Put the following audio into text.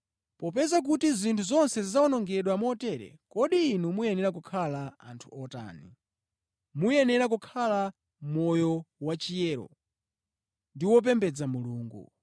Popeza kuti zinthu zonse zidzawonongedwa motere, kodi inu muyenera kukhala anthu otani? Muyenera kukhala moyo wachiyero ndi opembedza Mulungu